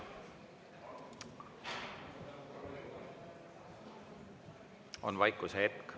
On vaikusehetk.